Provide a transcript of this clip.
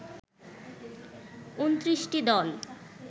২৯টি দল